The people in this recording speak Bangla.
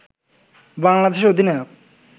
বাংলাদেশের অধিনায়ক